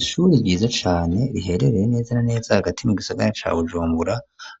Ishuri ryiza cane, riherereye neza na neza hagati mu gisagara ca Bujumbura,